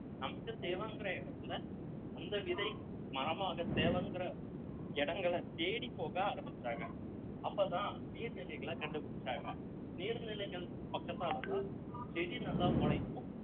நமக்கு தேவைங்கற இடத்துல அந்த விதை மரமாக தேவைங்கிற இடங்களை தேடிப்போக ஆரம்பிச்சாங்க அப்பதான் நீர்நிலைகள கண்டுபிடிச்சாங்க நீர்நிலைகளுக்கு பக்கத்தாலதான் செடி நல்லா முளைக்கும்